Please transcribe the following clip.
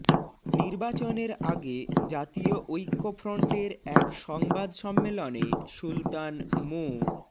নির্বাচনের আগে জাতীয় ঐক্যফ্রন্টের এক সংবাদ সম্মেলনে সুলতান মো